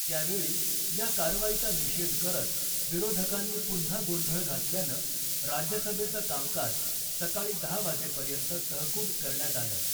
त्यावेळी या कारवाईचा निषेध करत विरोधकांनी पुन्हा गोंधळ घातल्यानं राज्यसभेचं कामकाज सकाळी दहा वाजेपर्यंत तहकूब करण्यात आलं .